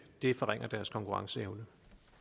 det forringer deres konkurrenceevne